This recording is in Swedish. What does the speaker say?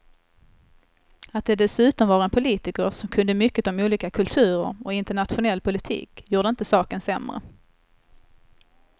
Att det dessutom var en politiker som kunde mycket om olika kulturer och internationell politik gjorde inte saken sämre.